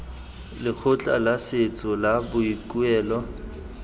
lekgotla la setso la boikuelo